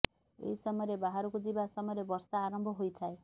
ଏହି ସମୟରେ ବାହାରକୁ ଯିବା ସମୟରେ ବର୍ଷା ଆରମ୍ଭ ହୋଇଥାଏ